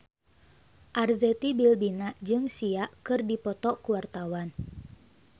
Arzetti Bilbina jeung Sia keur dipoto ku wartawan